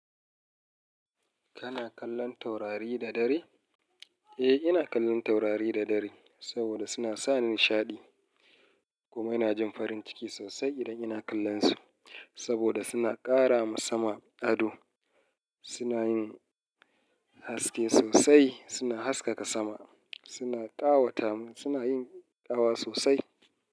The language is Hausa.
Kana kallon taurari da dare? Eh, ina kallon taurari da dare saboda suna sa nishaɗi. Kuma ina jin farin ciki sosai idan ina kallonsu saboda suna ƙara ma sama ado. Suna yin haske sosai, suna haskaka sama. Suna ƙawata mu, suna yin ƙawa sosai.